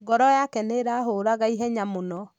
Ngoro yake nĩ ĩrahuraga ihenya muno.